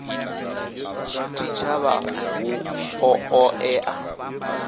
tshitshavha hu ḓo ṱo ḓea